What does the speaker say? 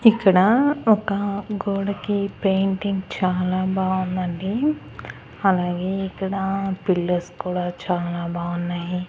ఇక్కడ ఒక గోడకి పెయింటింగ్ చాలా బాగుంది అండి అలాగే ఇక్కడ పిల్లౌస్ కూడా చాలా బాగున్నాయి.